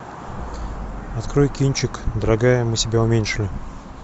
открой кинчик дорогая мы себя уменьшили